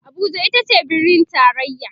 Abuja itace birnin taraya